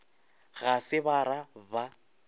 ga se ba ra ba